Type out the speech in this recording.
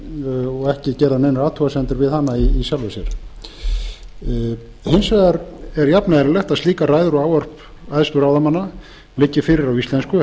eðlileg og ekki gerðar neinar athugasemdir við hana í sjálfu sér hins vegar er jafneðlilegt er að slíkar ræður og ávörp æðstu ráðamanna liggi fyrir á íslensku